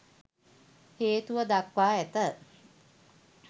හේතුව දක්වා ඇත.